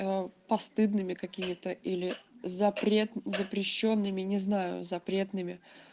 постыдными мы какими-то или запрет запрещёнными не знаю запретными